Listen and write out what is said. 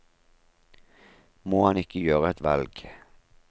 Må han ikke gjøre et valg?